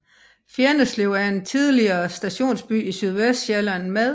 Fjenneslev er en tidligere stationsby i Sydvestsjælland med